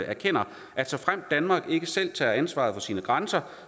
erkender at såfremt danmark ikke selv tager ansvar for sine grænser